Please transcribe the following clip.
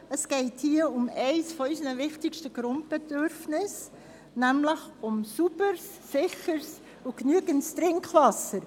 Es geht hier um eines unserer wichtigsten Grundbedürfnisse, nämlich um sauberes, sicheres und ausreichendes Trinkwasser.